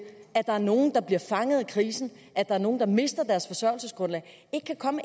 at der er nogle der bliver fanget af krisen at der er nogle der mister deres forsørgelsesgrundlag ikke kan komme